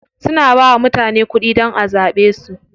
Suna bawa mutane kuɗi dan a zaɓe su.